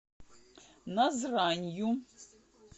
назранью